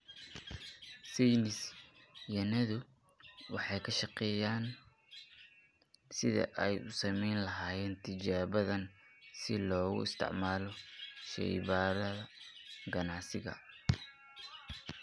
Saynis yahanadu waxay ka shaqaynayaan sidii ay u samayn lahaayeen tijaabadan si loogu isticmaalo shaybaadhada ganacsiga.